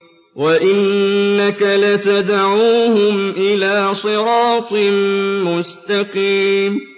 وَإِنَّكَ لَتَدْعُوهُمْ إِلَىٰ صِرَاطٍ مُّسْتَقِيمٍ